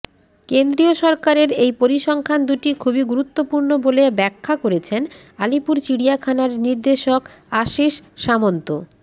কেন্দ্রীয় সরকারের এই পরিসংখ্যান দুটি খুবই গুরুত্বপূর্ণ বলে ব্যাখ্যা করেছেন আলিপুর চিড়িয়াখানার নির্দেশক আশিষ সামন্ত